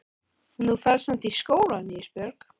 En þú ferð samt í skólann Ísbjörg.